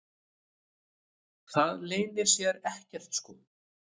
Það leynir sér ekkert sko.